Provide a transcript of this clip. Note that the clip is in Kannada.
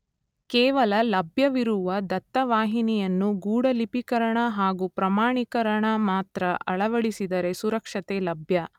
ಕೇವಲ ಲಭ್ಯವಿರುವ ದತ್ತ ವಾಹಿನಿಯನ್ನು ಗೂಢಲಿಪೀಕರಣ ಹಾಗೂ ಪ್ರಮಾಣೀಕರಣ ಮಾತ್ರ ಅಳವಡಿಸಿದರೆ ಸುರಕ್ಷತೆ ಲಭ್ಯ.